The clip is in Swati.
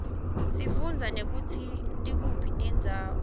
sifundza nekutsi tikuphi tindzawo